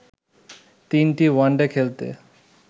তিনটি ওয়ানডে খেলতে